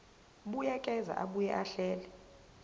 buyekeza abuye ahlele